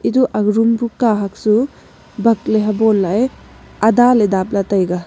etu aga room pu kahak su bak ley habon lah ae ada ley dap lah taega.